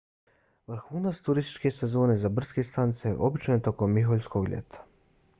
vrhunac turističke sezone za brdske stanice obično je tokom miholjskog ljeta